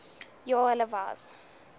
ja hulle was